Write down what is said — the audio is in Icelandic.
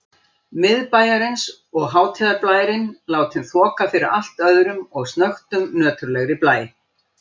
Miðbæjarins og hátíðarblærinn látinn þoka fyrir allt öðrum og snöggtum nöturlegri blæ.